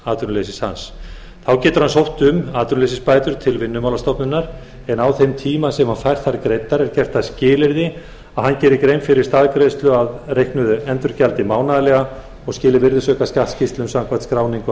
atvinnuleysis hans þá getur hann sótt um atvinnuleysisbætur til vinnumálastofnunar en á þeim tíma sem hann fær þær greiddar er gert að skilyrði að hann geri grein fyrir staðgreiðslu af reiknuðu endurgjaldi mánaðarlega og skili virðisaukaskattsskýrslum samkvæmt skráningu